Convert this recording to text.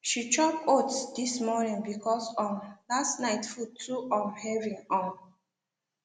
she chop oats this morning because um last night food too um heavy um